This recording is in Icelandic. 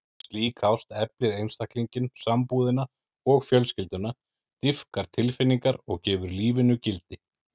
Slík ást eflir einstaklinginn, sambúðina og fjölskylduna, dýpkar tilfinningar og gefur lífinu gildi.